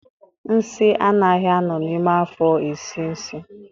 Nsị anaghị a nọ n'ime afo esie nsị